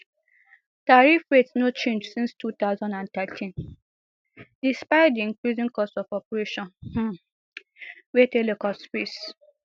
tariff rates no change since two thousand and thirteen despite di increasing costs of operation um wey telcos face